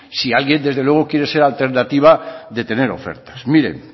si alguien desde luego quiere ser alternativa de tener ofertas miren